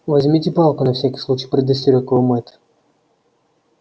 возьмите палку на всякий случай предостерёг его мэтт